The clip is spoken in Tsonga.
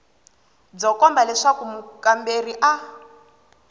byo komba leswaku mukamberiwa a